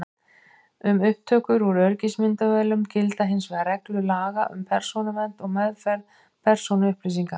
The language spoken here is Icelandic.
Um upptökur úr öryggismyndavélum gilda hins vegar reglur laga um persónuvernd og meðferð persónuupplýsinga.